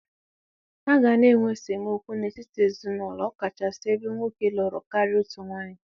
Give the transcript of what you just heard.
A ga-ana enwe esemokwu n'etiti ezinaụlọ ọkachasị ebe nwoke lụrụ karịa otu nwaanyị.